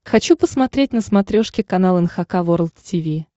хочу посмотреть на смотрешке канал эн эйч кей волд ти ви